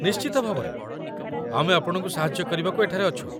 ନିଶ୍ଚିତ ଭାବରେ! ଆମେ ଆପଣଙ୍କୁ ସାହାଯ୍ୟ କରିବାକୁ ଏଠାରେ ଅଛୁ।